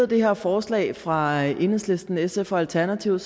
det her forslag fra enhedslisten sf og alternativet